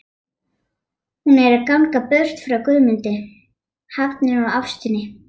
Hún er að ganga burt frá Guðmundi, hafinu og ástinni.